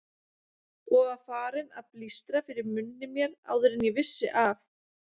Og var farinn að blístra fyrir munni mér áður en ég vissi af.